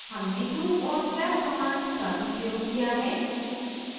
हमने loop और slab commands का भी प्रयोग किया है